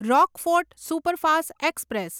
Rockfort superfast express